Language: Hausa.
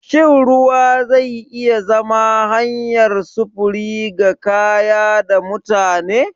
Shin ruwa zai iya zama hanyar sufuri ga kaya da mutane?